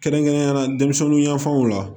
Kɛrɛnkɛrɛnnenyala denmisɛnninyanfanw la